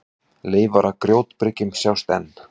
Leifar af grjótbyrgjum sjást enn.